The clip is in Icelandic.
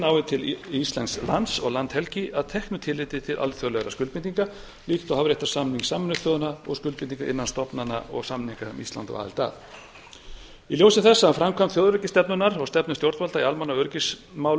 nái til íslensks lands og landhelgi að teknu tilliti til alþjóðlegra skuldbindinga líkt og hafréttarsamnings sameinuðu þjóðanna og skuldbindingar innan stofnana og samnings sem ísland á aðild að í ljósi þessa um framkvæmd þjóðaröryggisstefnunnar og stefnu stjórnvalda í almanna og